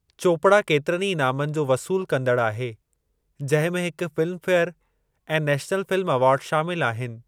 चोपड़ा केतिरनि ई इनामनि जो वसूलु कंदड़ु आहे जंहिं में हिक फ़िल्म फे़यर ऐं नेशनल फ़िल्म अवार्ड शामिल आहिनि।